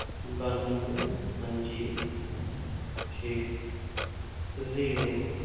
ਬਾਨਵੇਂ, ਹਾਂਜੀ ਠੀਕ ਹੈ zero